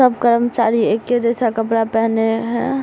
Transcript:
सब कर्मचारी एके जैसा कपड़ा पहने है।